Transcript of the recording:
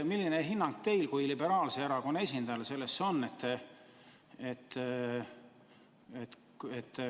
Millise hinnangu teie kui liberaalse erakonna esindaja sellele annate?